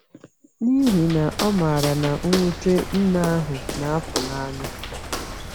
N’ihi na ọ maara na mwute nne ahụ na-apụ n’anya.